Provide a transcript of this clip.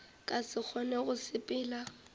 ka se kgone go sepela